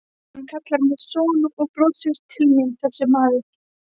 Hann kallar mig son og brosir til mín þessi maður.